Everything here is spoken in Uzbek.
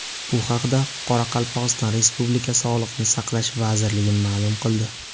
Bu haqda Qoraqalpog‘iston Respublikasi Sog‘liqni saqlash vazirligi ma’lum qildi .